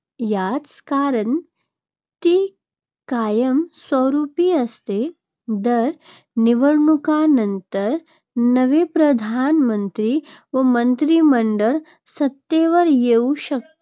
याचे कारण ती कायमस्वरूपी असते. दर निवडणुकांनंतर नवे प्रधानमंत्री व मंत्रिमंडळ सत्तेवर येऊ शकते,